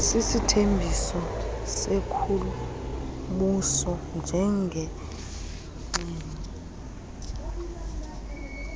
sisithembiso senkulumbuso njengengxenye